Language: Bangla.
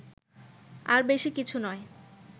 আর বেশি কিছু নয়